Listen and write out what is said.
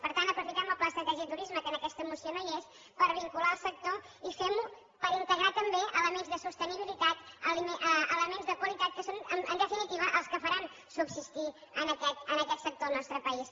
per tant aprofitem el pla estratègic de turisme que en aquesta moció no hi és per vincular el sector i fem ho per integrar també elements de sostenibilitat elements de qualitat que són en definitiva els que faran subsistir aquest sector al nostre país